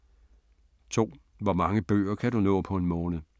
2) Hvor mange bøger kan du nå på en måned?